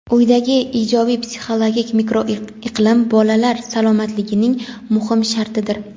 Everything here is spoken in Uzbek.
uydagi ijobiy psixologik mikroiqlim bolalar salomatligining muhim shartidir.